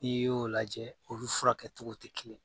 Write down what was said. N'i y'o lajɛ olu furakɛ cogow tɛ kelen.